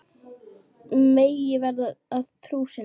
Megi henni verða að trú sinni.